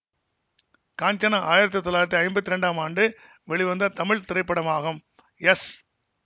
காஞ்சனா ஆயிரத்தி தொள்ளாயிரத்தி ஐம்பத்தி இரண்டாம் ஆண்டு வெளிவந்த தமிழ் திரைப்படமாகும் எஸ்